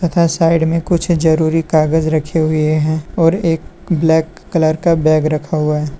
तथा साइड में कुछ जरूरी कागज रखे हुए हैं और एक ब्लैक कलर का बैग रखा हुआ है।